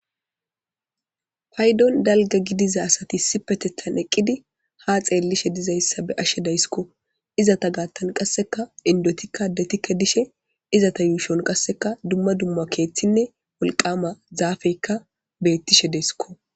Paydon dalga gidiza asati issipetetan eqidi ha xelishe dizaysa be'ashe daysko izata gatan qaseka indotika adetika dishe izeta yushon duma duma kethine wolqama zafeka betishe desko.